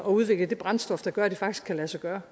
at udvikle det brændstof der gør at det faktisk kan lade sig gøre